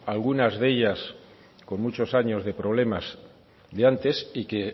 algunas de ellas con muchos años de problemas de antes y que